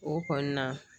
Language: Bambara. O kɔni na